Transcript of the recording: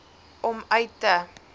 om uit te